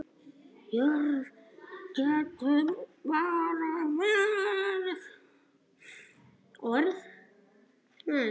Jörð getur átt við